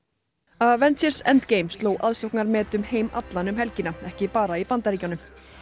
avengers endgame sló aðsóknarmet um heim allan um helgina ekki bara í Bandaríkjunum